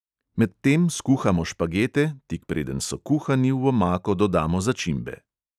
Med tem skuhamo špagete, tik preden so kuhani, v omako dodamo začimbe.